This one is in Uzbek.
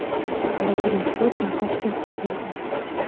Vladimir Putin Toshkentga keldi.